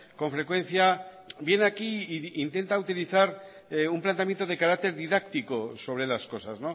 con frecuencia viene aquí y intenta utilizar un planteamiento de carácter didáctico sobre las cosas